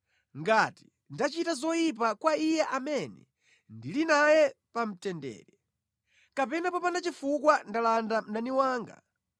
ngati ndachita zoyipa kwa iye amene ndili naye pa mtendere, kapena popanda chifukwa ndalanda mdani wanga,